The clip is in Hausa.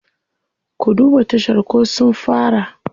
Ku duba tashar ko sun fara.